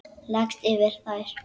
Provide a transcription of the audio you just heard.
Leggst yfir þær.